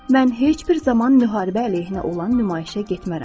Mən heç bir zaman müharibə əleyhinə olan nümayişə getmərəm.